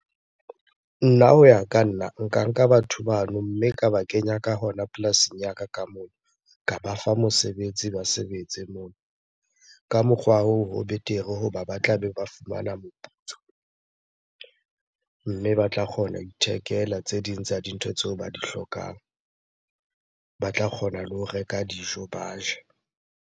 Nna ho ya ka nna, nka nka batho bano mme ka ba kenya ka hona polasing ya ka ka moo. Ka ba fa mosebetsi ba sebetse moo. Ka mokgwa hoo ho betere hoba ba tlabe ba fumana moputso mme ba tla kgona ho ithekela tse ding tsa dintho tseo ba di hlokang. Ba tla kgona le ho reka dijo ba je.